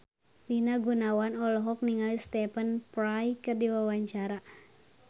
Rina Gunawan olohok ningali Stephen Fry keur diwawancara